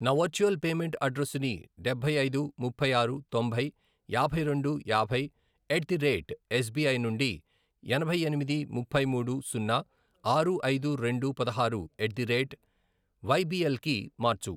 నా virtual payment అడ్రెస్సుని డబ్బై ఐదు, ముప్పై ఆరు, తొంభై, యాభై రెండు, యాభై, ఎట్ ది రేట్ ఎస్బిఐ నుండి ఎనభై ఎనిమిది, ముప్పై మూడు, సున్నా, ఆరు, ఐదు, రెండు, పదహారు, ఎట్ ది రేట్ వైబీఎల్ కి మార్చు.